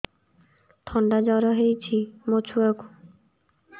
ଥଣ୍ଡା ଜର ହେଇଚି ମୋ ଛୁଆକୁ